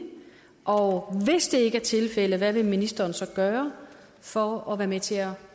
og hvis ikke det er tilfældet hvad ministeren så vil gøre for at være med til at